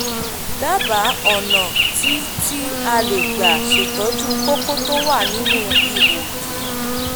dábàá ọ̀nà tí tí a lè gbà ṣètọ́jú kókó tó wà nínú ihò ìdí